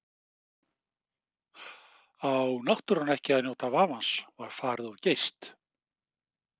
Á náttúran ekki að njóta vafans, var farið of geyst?